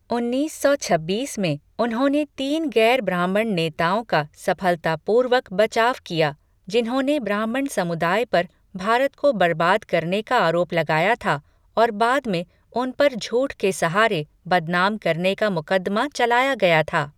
उन्नीस सौ छब्बीस में, उन्होंने तीन गैर ब्राह्मण नेताओं का सफलतापूर्वक बचाव किया, जिन्होंने ब्राह्मण समुदाय पर भारत को बर्बाद करने का आरोप लगाया था और बाद में उन पर झूठ के सहारे बदनाम करने का मुकदमा चलाया गया था।